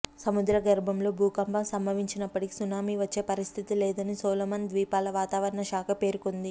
సముద్రగర్భంలో భూకంపం సంభవించినప్పటికీ సునామీ వచ్చే పరిస్థితి లేదని సోలొమన్ ద్వీపాల వాతావరణశాఖ పేర్కొన్నది